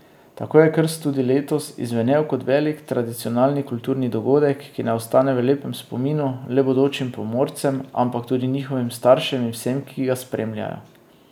Tako je krst tudi letos izzvenel kot velik tradicionalni kulturni dogodek, ki ne ostane v lepem spominu le bodočim pomorcem, ampak tudi njihovim staršem in vsem, ki ga spremljajo.